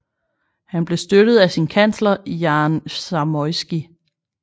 Han blev støttet af sin kansler Jan Zamoyski